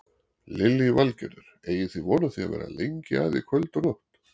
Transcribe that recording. Lillý Valgerður: Eigið þið von á því að vera lengi að í kvöld og nótt?